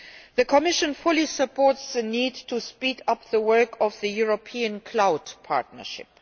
The Commission fully supports the need to speed up the work of the European cloud partnership.